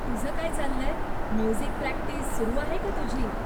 तुझं काय चाललंय, म्युझिक प्रक्टिस सुरु आहे का तुझी?